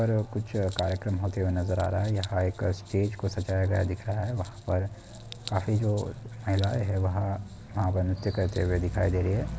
यहाँ पर कुछ कार्यक्रम होते हुए नजर आ रहा है यहाँ एक स्टेज को सजाया गया दिखरा है वहाँ पर काफी जो महिलाएं है वहाँ वहाँ पर नृत्य करते हुए दिखाई दे रही हैं।